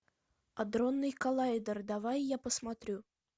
адронный коллайдер давай я посмотрю